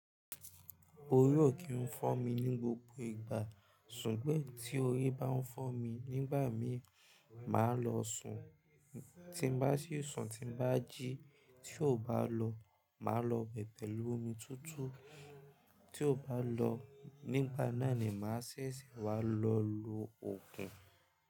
Orí ò kí ń fọ́ mi ní gbogbo ìgbà, ṣùgbọ́n tí orí bá ń fọ́ mi, nígbà míì, màá lọ sùn. Tí bá sì sùn, tí bá jí, tí ò bá lọ, màá lọ bẹ̀bẹ̀ lu omi tutu. Tí ò bá lọ, nígbà náà ni màá ṣẹ̀ṣẹ̀ wá lọ lo ògùn.